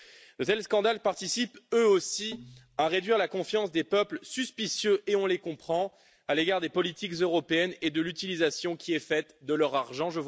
De tels scandales participent, eux aussi, à réduire la confiance des peuples suspicieux et on les comprend à l'égard des politiques européennes et de l'utilisation qui est faite de leur argent.